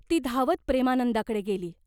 ती धावत प्रेमानंदाकडे गेली.